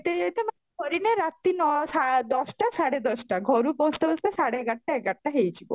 କରି ନା ରାତି ନଅ ଦଶଟା ସାଢେ ଦଶଟା ଘରୁ ପହଁଚତେ ପହଁଚତେ ସାଢେ ଏଗାରଟା ଏଗାରଟା ହେଇଯିବ